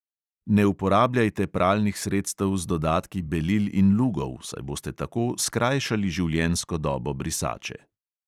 Ne uporabljajte pralnih sredstev z dodatki belil in lugov, saj boste tako skrajšali življenjsko dobo brisače.